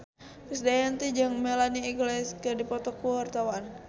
Krisdayanti jeung Melanie Iglesias keur dipoto ku wartawan